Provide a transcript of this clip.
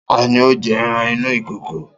Ta ni ó jẹ́ ẹran inú ìkòkò?